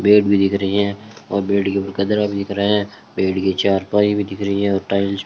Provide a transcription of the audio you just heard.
bed भी दिख रही है और बेड के ऊपर गद्दा भी दिख रहा है बेड के चारपाई भी दिख रही है और टाइल्स --